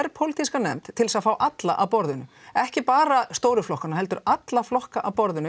þverpólítíska nefnd til að fá alla að borðinu ekki bara stóru flokkana heldur alla flokka að borðinu